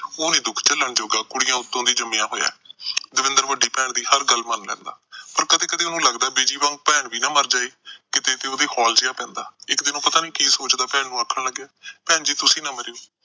ਉਹ ਨੀ ਦੁੱਖ ਝਲਣ ਜੋਗਾ, ਕੁੜੀਆਂ ਉਤੋਂ ਦੀ ਜੰਮਿਆ ਹੋਇਆ। ਦਵਿੰਦਰ ਵੱਡੀ ਭੈਣ ਦੀ ਹਰ ਗੱਲ ਮੰਨ ਲੈਂਦਾ। ਪਰ ਕਦੇ-ਕਦੇ ਉਹਨੂੰ ਲੱਗਦਾ, ਬਿਜੀ ਵਾਂਗੂ ਭੈਣ ਵੀ ਨਾ ਮਰ ਜਾਏ ਕਿਤੇ, ਉਹਦੇ ਹੋਲ ਜਿਹਾ ਪੈਂਦਾ। ਇੱਕ ਦਿਨ ਉਹ ਪਤਾ ਨੀ ਕਿ ਸੋਚਦਾ ਭੈਣ ਨੂੰ ਆਖਣ ਲੱਗਿਆ, ਭੈਣ ਜੀ ਤੁਸੀਂ ਨਾ ਮਰੀਓ।